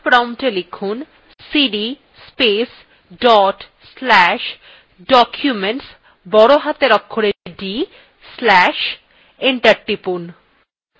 command promptএ লিখুনcd space dot slash documents বড় হাতের অক্ষরে d slash enter টিপুন